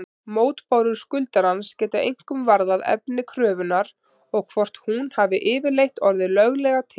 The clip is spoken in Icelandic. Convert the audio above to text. Mótbárur skuldarans geta einkum varðað efni kröfunnar og hvort hún hafi yfirleitt orðið löglega til.